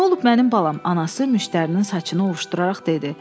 Nə olub mənim balam, anası müştərinin saçını ovuşduraraq dedi.